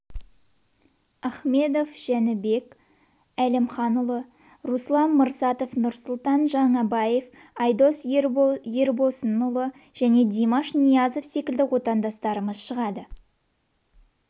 ахмедов жәнібек әлімханұлы руслам мырсатаев нұрсұлтан жаңайбаев айдос ербосынұлы және димаш ниязов секілді отандастарымыз шығады